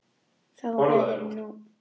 Þá verður nóg pláss.